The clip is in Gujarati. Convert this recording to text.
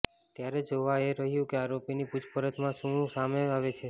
ત્યારે જોવુ એ રહ્યું કે આરોપીની પુછપરછ મા શું સામે આવે છે